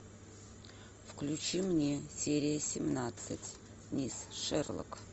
включи мне серия семнадцать мисс шерлок